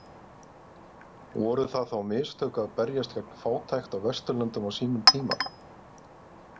Voru það þá mistök að berjast gegn fátækt á Vesturlöndum á sínum tíma?